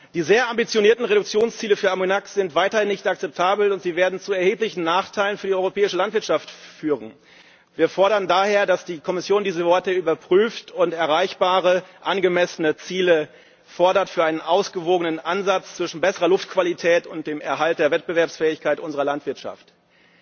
Die sehr ambitionierten Reduktionsziele für Ammoniak sind weiterhin nicht akzeptabel und werden zu erheblichen Nachteilen für die europäische Landwirtschaft führen. Wir fordern daher, dass die Kommission dies überprüft und erreichbare angemessene Ziele für einen ausgewogenen Ansatz zwischen besserer Luftqualität und dem Erhalt der Wettbewerbsfähigkeit unserer Landwirtschaft fordert.